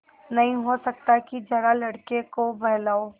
नहीं हो सकता कि जरा लड़के को बहलाओ